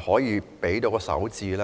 可應付首置？